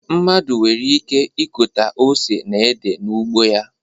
Mmadụ nwere ike ịkọta ose na ede n'ugbo